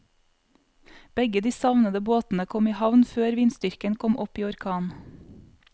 Begge de savnede båtene kom i havn før vindstyrken kom opp i orkan.